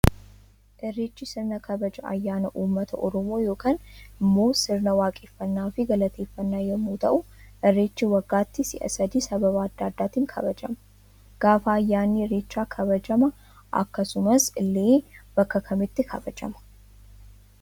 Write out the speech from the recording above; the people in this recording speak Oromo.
Irreechi sirna kabaja ayyaana uummata oromoo yookan immoo sirna waaqeffannaa fi galateeffannaa yommuu ta'u irreechi waggaatti si'a sadii sababa adda addaatiin kabajama. Gaafa ayyaanni irreechaa kabajama akkasumas illee bakka Kam Kamitti kabajama?